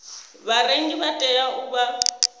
vharengi vha tea u vha